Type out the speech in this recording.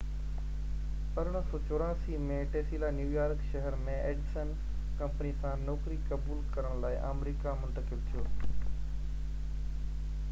1884 ۾ Tesla New York شهر ۾ Edison company سان نوڪري قبول ڪرڻ لاءِ آمريڪا منتقل ٿيو